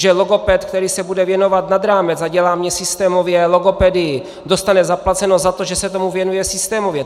Že logoped, který se bude věnovat nad rámec a dělá mi systémově logopedii, dostane zaplaceno za to, že se tomu věnuje systémově.